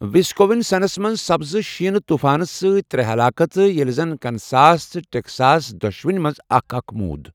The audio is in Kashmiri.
وسکونسنَس منٛز سپزٕ شیٖنہٕ طوٗفانہ سۭتۍ ترٛےٚ ہلاکتہٕ ییٚلہِ زِن کنساس تہٕ ٹیکساس دۄشوٕنی منٛز اکھ اکھ مُود ۔